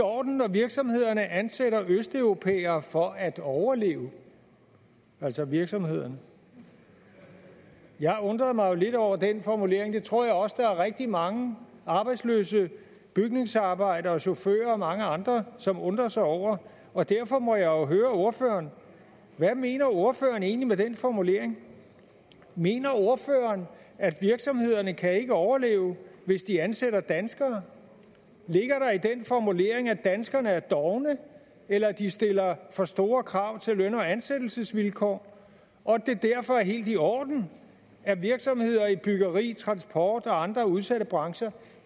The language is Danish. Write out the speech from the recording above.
i orden når virksomhederne ansætter østeuropæere for at overleve altså virksomhederne jeg undrede mig jo lidt over den formulering det tror jeg også at der er rigtig mange arbejdsløse bygningsarbejdere og chauffører og mange andre som undrer sig over og derfor må jeg jo høre ordføreren hvad mener ordføreren egentlig med den formulering mener ordføreren at virksomhederne ikke kan overleve hvis de ansætter danskere ligger der i den formulering at danskerne er dovne eller at de stiller for store krav til løn og ansættelsesvilkår og at det derfor er helt i orden at virksomheder i byggeri transport og andre udsatte brancher